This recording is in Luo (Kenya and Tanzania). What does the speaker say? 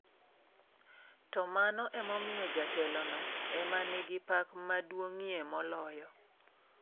To mano emomiyo jatelono ema nigi pak maduong'ie moloyo.